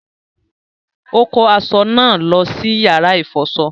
Ó kó aṣọ náà lọ sí yàrá ìfọṣọ